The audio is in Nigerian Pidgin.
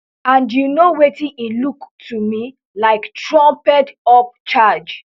and you know wetin e look to me like trumpedup charge